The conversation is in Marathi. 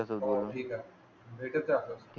तुझ्या सोबत बोलून